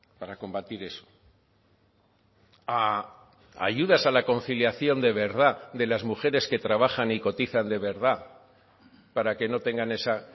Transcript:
para combatir eso a ayudas a la conciliación de verdad de las mujeres que trabajan y cotizan de verdad para que no tengan esa